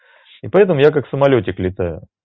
и поэтому я как самолётик летаю